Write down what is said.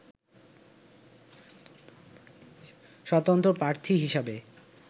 স্বতন্ত্র প্রার্থী হিসেবে